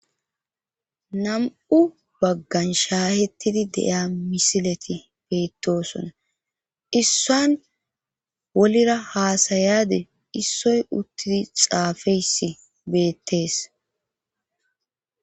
Nam7u baggan shahettidi de7iya misileti beettoosona issuwan wolira haasayiyade issoy uttidi xaafeyssi beetees